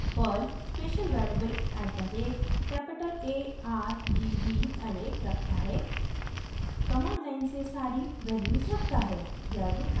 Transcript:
Perl special variable at the rate capital a r g v array रखता है command line से सारी values रखता है